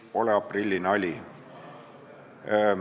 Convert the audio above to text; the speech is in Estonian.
See pole aprillinali.